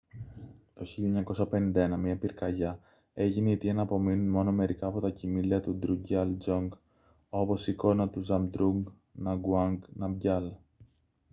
το 1951 μια πυρκαγιά έγινε η αιτία να απομείνουν μόνο μερικά από τα κειμήλια του ντρουκγκιάλ ντζονγκ όπως η εικόνα του ζαμπντρούγκ νγκαγουάνγκ ναμγκιάλ